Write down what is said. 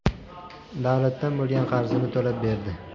davlatdan bo‘lgan qarzini to‘lab berdi.